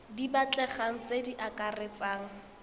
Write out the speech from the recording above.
di batlegang tse di akaretsang